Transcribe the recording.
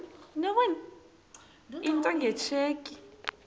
into nge tsheki